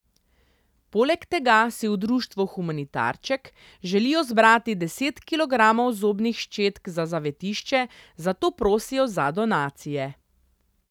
Poleg tega si v društvu Humanitarček želijo zbrati deset kilogramov zobnih ščetk za zavetišče, zato prosijo za donacije.